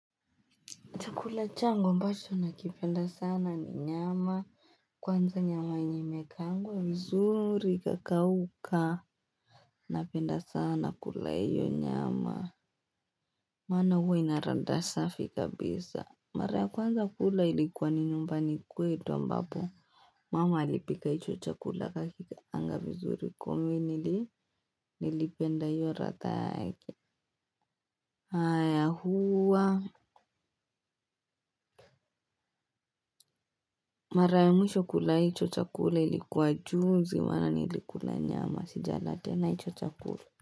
Chakula changu ambacho nakipenda sana ni nyama. Kwanza nyama yenye imekaangwa. Vizuri ikakauka. Napenda sana kula hiyo nyama. Maana huwa ina ladha safi kabisa. Mara ya kwanza kula ilikuwa ni nyumbani kwetu ambapo. Mama alipika hicho chakula akakikaanga vizuri kuminili nilipenda hiyo haraka yake. Haya huwa. Mara ya mwisho kula hicho chakula ilikuwa juzi. Ndo maana niilkula nyama, sijala tena hicho chakula.